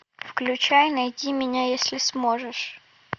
включай найди меня если сможешь